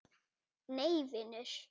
Nei vinur.